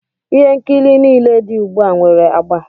Ihe nkiri nile di ugbu a nwere agba.